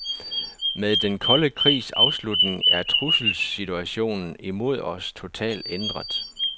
Med den kolde krig afslutning er trusselssituationen imod os totalt ændret.